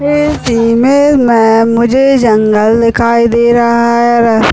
इस इमेज में मुझे जंगल दिखाई दे रहा है रास्ता--